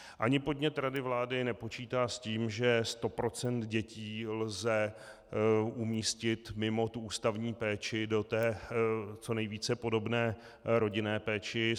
Ani podnět rady vlády nepočítá s tím, že 100 % dětí lze umístit mimo ústavní péči do té co nejvíce podobné rodinné péče.